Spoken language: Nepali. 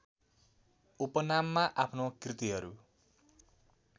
उपनाममा आफ्नो कृतिहरू